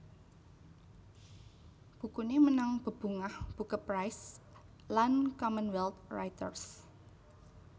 Bukuné menang bebungah Boeke Prize lan Commonwealth Writers